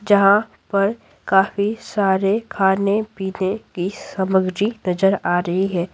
जहाँ पर काफी सारे खाने-पीने की सामग्री नजर आ रही है।